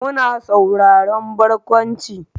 Muna sauraron barkwanci.